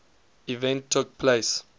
event took place